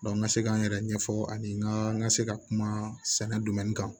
n ka se k'an yɛrɛ ɲɛfɔ ani n ka n ka se ka kuma sɛnɛ kan